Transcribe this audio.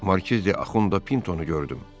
Markizi Axund Puntonu gördüm.